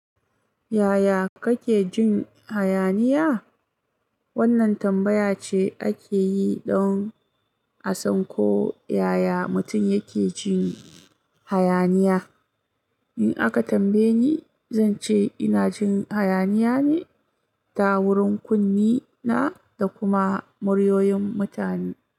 Yaya kake jin hayaniya? Wannan tambaya ce ake yi don a san ko yaya mutum yake jin hayaniya. In aka tambaye ni, zan ce ina jin hayaniya ne ta wurin kunne na da kuma muryoyin mutane.